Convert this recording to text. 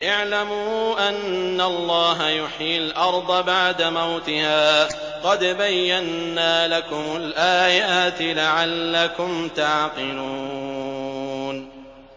اعْلَمُوا أَنَّ اللَّهَ يُحْيِي الْأَرْضَ بَعْدَ مَوْتِهَا ۚ قَدْ بَيَّنَّا لَكُمُ الْآيَاتِ لَعَلَّكُمْ تَعْقِلُونَ